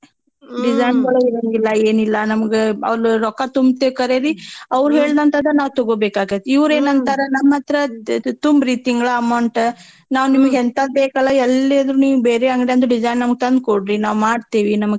ಗಳೂ ಇರಂಗಿಲ್ಲಾ ಏನಿಲ್ಲಾ ನಮ್ಗ ಅಲ್ ರೊಕ್ಕ ತುಂಬ್ತೇವ್ ಖರೇರಿ ಹೇಳ್ದಂತಾದ ನಾವ್ ತಗೋಬೇಕಾಕೇತ್ ಇವ್ರ್ ಅಂತಾರ ನಮ್ ಹತ್ರ ದ್ದ್~ತುಂಬ್ರಿ ತಿಂಗ್ಲ amount ನಾವ್ ಹೆಂತಾದ್ ಬೇಕಲ ಎಲ್ಲೇದ್ರು ನೀವ್ ಬೇರೆ ಅಂಗ್ದ್ಯಾನ್ದು design ನಮ್ಗ್ ತಂದ್ಕೊಡ್ರೀ ನಾವ್ ಮಾಡ್ತೇವಿ ನಮ್ಗ್.